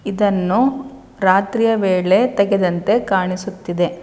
ಇದನ್ನು ರಾತ್ರಿಯ ವೇಳೆ ತೆಗೆದಂತೆ ಕಾಣಿಸುತ್ತಿದೆ.